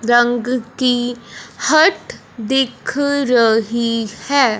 रंग की हट है दिख रही है।